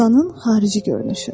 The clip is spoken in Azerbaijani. İlanın xarici görünüşü.